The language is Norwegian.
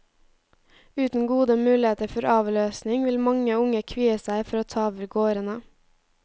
Uten gode muligheter for avløsning vil mange unge kvie seg for å ta over gårdene.